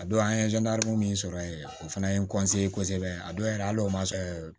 A don an ye min sɔrɔ yen o fana ye n kosɛbɛ a dɔw yɛrɛ hali o ma se